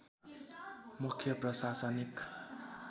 मुख्य प्रशासनिक